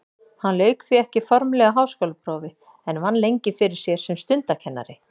Hann lauk því ekki formlegu háskólaprófi en vann lengi fyrir sér sem stundakennari.